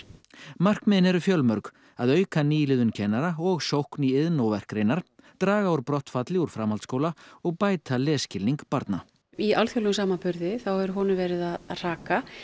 markmiðin eru fjölmörg að auka nýliðun kennara og sókn í iðn og verkgreinar draga úr brottfalli úr framhaldsskóla og bæta lesskilning barna í alþjóðlegum samanburði þá hefur honum verið að hraka